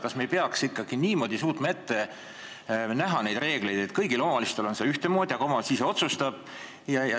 Kas me ei peaks ikkagi suutma ette näha neid reegleid niimoodi, et kõigil omavalitsustel oleks see kõik ühtemoodi, aga omavalitsus ise otsustaks?